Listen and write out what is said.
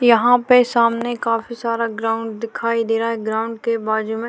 यहाँ पर सामने काफी सारा ग्राउंड दिखाई दे रहा है ग्राउंड के बाजू में--